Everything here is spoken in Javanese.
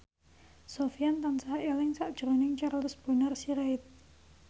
Sofyan tansah eling sakjroning Charles Bonar Sirait